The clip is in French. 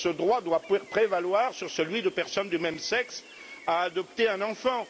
Ce droit doit prévaloir sur celui de personnes du même sexe à adopter un enfant.